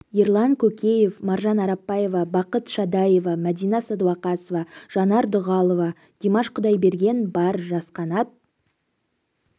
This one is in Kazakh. ерлан көкеев маржан арапбаева бақыт шадаева мәдина садуақасова жанар дұғалова димаш құдайберген бар жас қанат